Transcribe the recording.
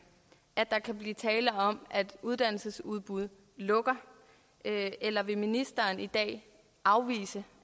at der kan blive tale om at uddannelsesudbud lukker eller vil ministeren i dag afvise